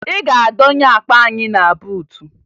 Ị ga-adọnye akpa anyị na buutu!